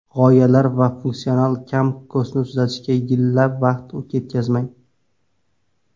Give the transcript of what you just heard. G‘oyalar va funksional kam-ko‘stini tuzatishga yillab vaqt ketkazmang.